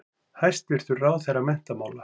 Hæstvirtur ráðherra menntamála.